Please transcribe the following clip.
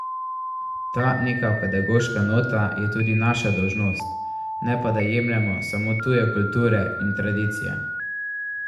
Ta neka pedagoška nota je tudi naša dolžnost, ne pa da jemljemo samo tuje kulture in tradicije.